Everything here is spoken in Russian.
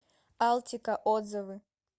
алтика отзывы